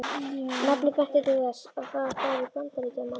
Nafnið benti til þess, að þar færu Bandaríkjamenn.